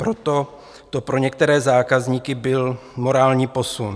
Proto to pro některé zákazníky byl morální posun.